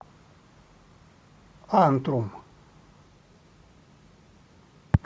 антрум